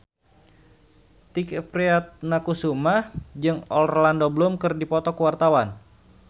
Tike Priatnakusuma jeung Orlando Bloom keur dipoto ku wartawan